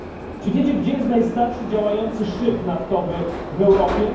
Czy wiecie, gdzie jest najstarszy działający szyb naftowy w Europie?